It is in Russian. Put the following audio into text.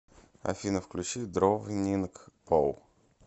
афина включи дровнинг пол